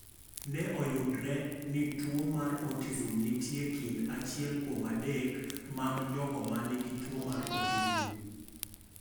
Ne oyudre ni tuwo mar autism nitie e kind achiel kuom adek mag jogo ma nigi tuwo mar autism.